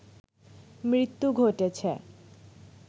মৃত্যু ঘটেছে